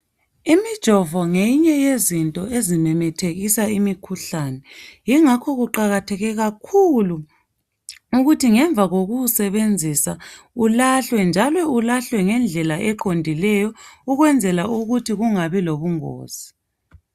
Imijovo ngeyinye yezinto ezimemethekisa imikhuhlane, yi ngakho kuqakatheke kakhulu ukuthi ngemva kokuwuwusebenzisa ulahlwe njalo ulahlwe ngendlela eqondileyo ukwenzela ukuthi kungabi lobungozi.